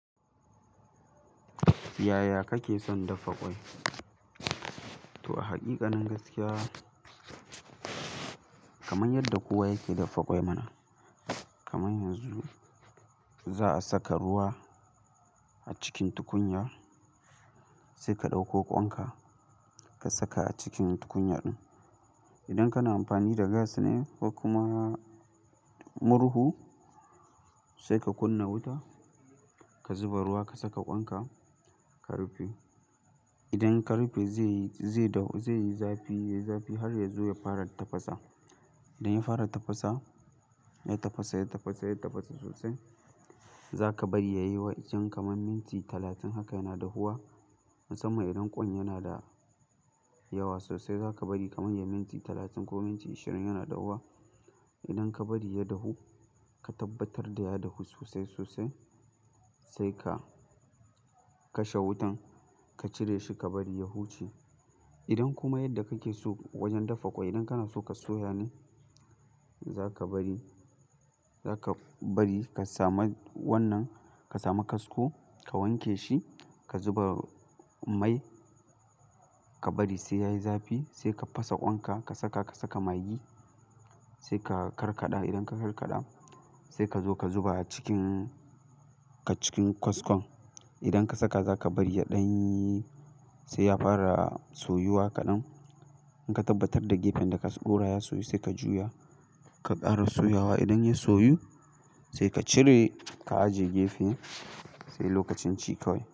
Yaya kake son daffa ƙwai? To a haqi kanin gaskiya, kamar yadda kowa yake daffa ƙwai mana. Kaman yanzu za'a saka ruwa a cikin tukunya sai ka ɗauko kwan ka, ka saka a cikin tukunya din. Idan kana amfani da gas ne ko kuma murhu sai ka kunna wuta, ka zuba ruwa, ka saka ƙwan ka, ka rufe. Idan ka rufe zai, zai dahu, zai yi zafi, zafi har yazo ya fara tafasa. Idan ya fara tafasa, ya tafasa, ya tafasa, ya tafasa sosai zaka bari ya yi wajen kaman minti talatin haka yana dahuwa. Musamman idan ƙwan yana da yawa sosai, zaka bari kaman yayi minti talatin ko minti ashirin yana dahuwa. Idan ka bari ya dahu, ka tabbatar da ya dahu sosai, sosai sai ka kashe wutan. Ka cire shi, ka bari ya huce. Idan kuma yadda kake so wajen daffa ƙwai idan kana so ka soya ne, zaka bari, zaka bari ka sami wannan, ka samu kasko, ka wanke shi, ka zuba mai, ka bari sai yayi zafi sai ka fasa ƙwan ka, ka saka, ka saka magi sai ka karkada. Idan ka karkada sai ka zo ka zuba a cikin ka cikin kaskon. Idan ka saka zaka bari ya ɗanyyi sai ya fara soyuwa kaɗan. In ka tabbatar da gefen da ka ɗora ya soyu sai ka juya. Ka ƙara soyawa. Idan ya soyu saika cire ka ajiye gefe sai lokacin ci kawai.